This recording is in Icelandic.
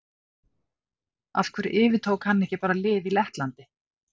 Af hverju yfirtók hann bara ekki lið í Lettlandi?